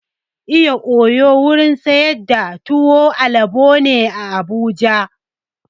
Iya oyo wurin sayar da tuwon alabo ne a Abuja.